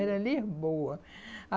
Era Lisboa.